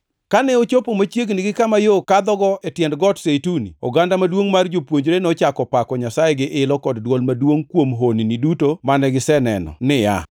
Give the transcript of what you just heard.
Kane ochopo machiegni gi kama yo kadhogo e tiend Got Zeituni, oganda maduongʼ mar jopuonjre nochako pako Nyasaye gi ilo kod dwol maduongʼ kuom honni duto mane giseneno niya,